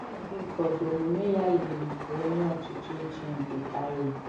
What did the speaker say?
N’ọnọdụ ụfọdụ, omume ya yiri nke onye ọchịchị ochie nke Tyre.